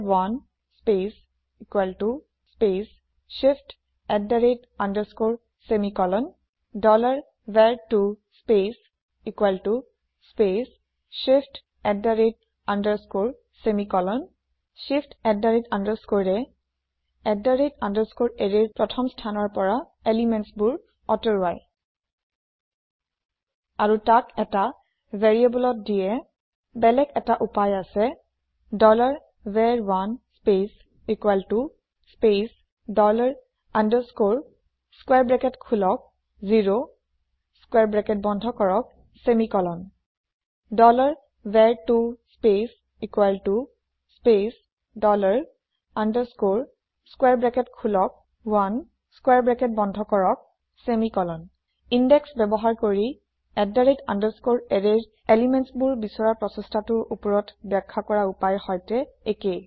var1 space space shift semicolon var2 space space shift semicolon shift এৰে ৰ প্ৰথম স্থানৰ পৰা পদাৰ্থ আতৰাই আৰু তাক এটা ভেৰিয়েবল ত দিয়ে বেলেগ এটা উপায় হৈছে var1 space space dollar underscore open square bracket zero close square bracket semicolon var2 space space dollar underscore open square bracket 1 close square bracket semicolon index ব্যৱহাৰ কৰি arrayৰ পদাৰ্থ বিচৰা প্ৰচেষ্টা টি উপৰত বাখ্যা কৰা উপায়ৰ সৈতে একেই